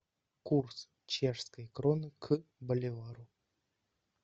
курс чешской кроны к боливару